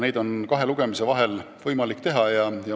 Seda on kahe lugemise vahel võimalik teha.